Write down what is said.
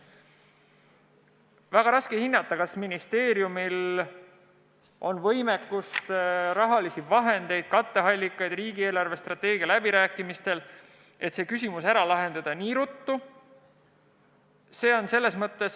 Väga raske on hinnata, kas ministeeriumil on võimekust, raha, katteallikaid riigi eelarvestrateegia läbirääkimistel, et see küsimus nii ruttu ära lahendada.